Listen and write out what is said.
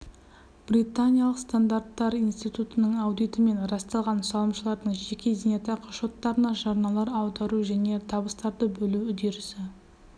британиялық стандарттар институтының аудитімен расталған салымшылардың жеке зейнетақы шоттарына жарналар аудару және табыстарды бөлу үдерісі